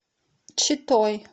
читой